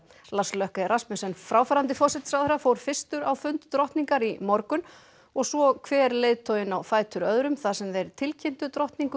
Lars Rasmussen fráfarandi forsætisráðherra fór fyrstur á fund drottningar í morgun og svo hver leiðtoginn á fætur öðrum þar sem þeir tilkynntu drottningu